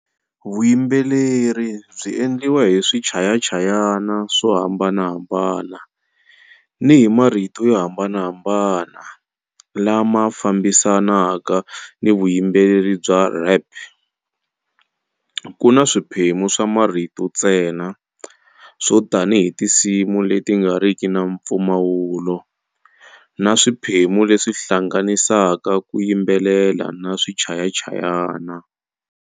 Vuyimbeleri byi endliwa hi swichayachayana swo hambanahambana ni hi marito yo hambanahambana lama fambisanaka ni vuyimbeleri bya rap, Kuna swiphemu swa marito ntsena, swo tanihi tinsimu leti nga riki na mpfumawulo, na swiphemu leswi hlanganisaka ku yimbelela na swichayachayana.